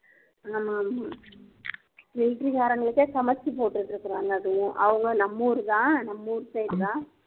military காரங்களுக்கே சமைச்சு போட்டுட்டு இருக்கறாங்க அதுவும் அவங்க நம்ம ஊருதான் நம்ம ஊரு side தான்